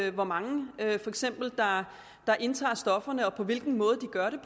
af hvor mange der indtager stofferne og på hvilken måde de gør